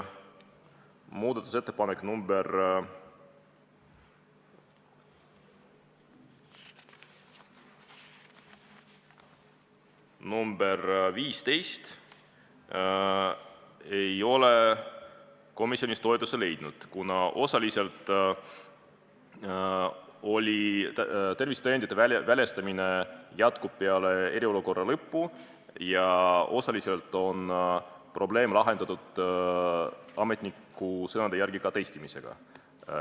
Muudatusettepanek nr 15 ei leidnud komisjonis toetust, kuna tervisetõendite väljastamine jätkub peale eriolukorra lõppu ja osaliselt on probleem ametniku sõnul lahendatud ka testimisega.